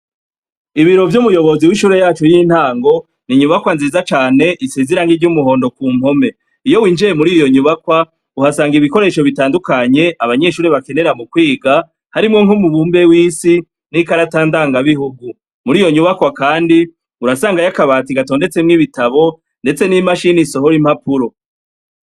Ibiro vy'umuyobozi wacu w'ishure y'intango, ni inyubakwa nziza cane, isize irangi ry'umuhondo ku mpome. Iyo winjiye mur'iyo nyubakwa, uhasanga ibikoresho bitandukanye abanyeshure bakenera mu kwiga, harimwo n'umubumbe w'isi n'ikarata ndangabihugu. Mur'iyo nyubakwa kandi, urasanga yo akabati gatondetsemwo ibitabo, ndetse n'imashini isohora impapuro.